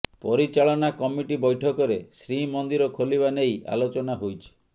ପରିଚାଳନା କମିଟି ବୈଠକରେ ଶ୍ରୀମନ୍ଦିର ଖୋଲିବା ନେଇ ଆଲୋଚନା ହୋଇଛି